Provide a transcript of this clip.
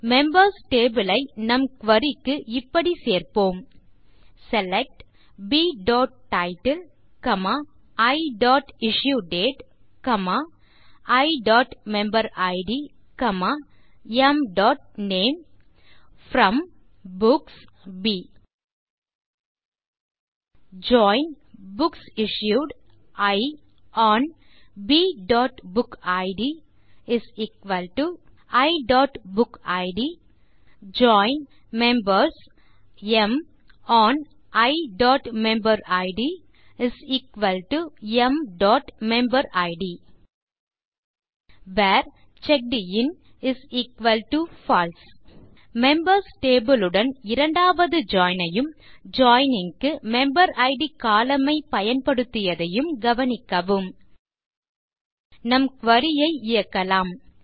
members table ஐ நம் குரி க்கு இவ்வாறு சேர்ப்போம் செலக்ட் bடைட்டில் iஇஷ்யூடேட் iமெம்பரிட் mநேம் from books b join books issued i on bபுக்கிட் iபுக்கிட் ஜாயின் மெம்பர்ஸ் ம் ஒன் iமெம்பரிட் mமெம்பரிட் where checked in false members table உடன் இரண்டாவது ஜாயின் ஐயும் ஜாயினிங் க்கு மெம்பரிட் கோலம்ன் ஐ பயன்படுத்தியதையும் கவனிக்கவும் நம் குரி ஐ இயக்கலாம்